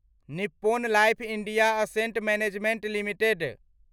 Nippon life India asset management limited